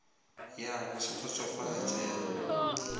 ya go se kgotsofatše ya